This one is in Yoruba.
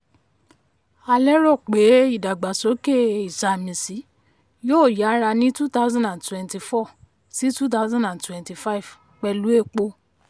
a lérò pé ìdàgbàsókè ìsàmìsí yóò yára ní two thousand and twenty four-two thousand and twenty five pẹ̀lú epo.